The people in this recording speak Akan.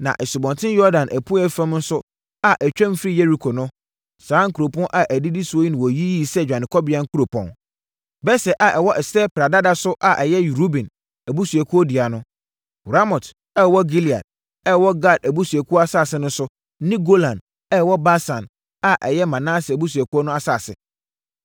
Na Asubɔnten Yordan apueeɛ fam nso a ɛtwam firi Yeriko no, saa nkuropɔn a ɛdidi soɔ yi na wɔyiyii sɛ dwanekɔbea nkuropɔn: Beser a ɛwɔ ɛserɛ pradada so a ɛyɛ Ruben abusuakuo dea no, Ramot a ɛwɔ Gilead a ɛwɔ Gad abusuakuo asase so ne Golan a ɛwɔ Basan a ɛyɛ Manase abusuakuo no asase.